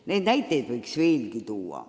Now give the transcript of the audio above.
Neid näiteid võiks veelgi tuua.